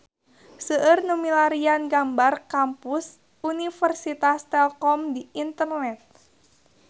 Seueur nu milarian gambar Kampus Universitas Telkom di internet